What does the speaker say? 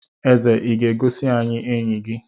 Eze Ị ga-egosi anyị enyi gi?